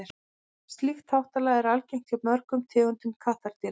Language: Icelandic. slíkt háttalag er algengt hjá mörgum tegundum kattardýra